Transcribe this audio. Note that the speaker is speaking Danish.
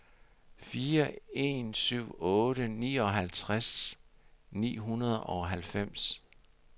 fire en syv otte nioghalvtreds ni hundrede og halvfems